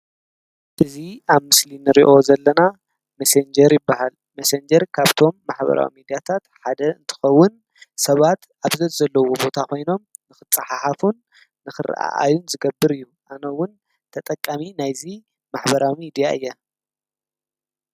እዙ ኣብ ምስሊኒ ርዮ ዘለና መሴንጀር በሃል መሴንጀር ካብቶም ማኅበራዊሚ ዲያታት ሓደ እንትኸውን ሰባት ኣብዘት ዘለዉ ቦታ ኾይኖም ንፍጽሓሓፉን ንኽርኢ ኣይን ዝገብር እዩ ኣነውን ተጠቃሚ ናይዙ ማኅበራዊ ሚድያ እየ።